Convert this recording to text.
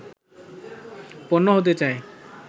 পণ্য হতে চায়